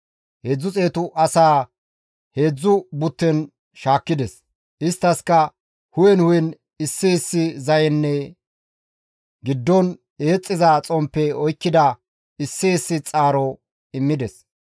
Heedzdzu xeetu asaa heedzdzu butten shaakkides; isttaskka hu7en hu7en issi issi zayenne giddon eexxiza xomppe oykkida issi issi xaaro immides.